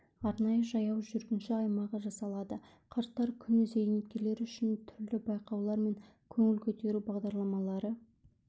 арнайы жаяу жүргінші аймағы жасалады қарттар күні зейнеткерлер үшін түрлі байқаулар мен көңіл көтеру бағдарлармалары